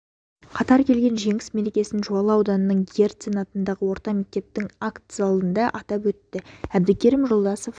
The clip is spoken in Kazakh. қатар келген жеңіс мерекесін жуалы ауданының герцен атындағы орта мектептің акт залында атап өтті әбдікерім жолдасов